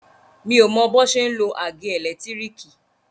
Mi ò o mọ bọ́n ṣe ń lo àgé ẹ̀lẹ́tírìkì.